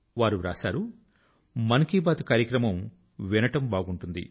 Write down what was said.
వారు వ్రాశారు మన్ కీ బాత్ కార్యక్రమం వినడం బాగుంటుంది